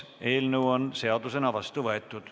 Eelnõu on seadusena vastu võetud.